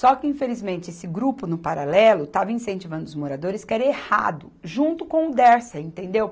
Só que, infelizmente, esse grupo, no paralelo, estava incentivando os moradores, que era errado, junto com o Dersa, entendeu?